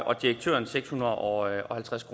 og direktøren seks hundrede og halvtreds